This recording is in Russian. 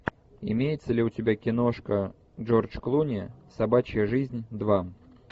имеется ли у тебя киношка джордж клуни собачья жизнь два